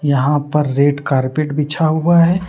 यहां पर red carpet बिछा हुआ है।